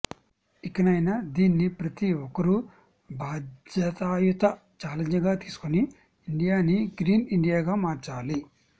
ఇకనైనా దీన్ని ప్రతి ఒక్కరు బాధ్యయుత ఛాలెంజ్ గా తీసుకొని ఇండియాని గ్రీన్ ఇండియా గా మార్చాలి